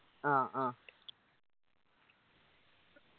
ആ ആ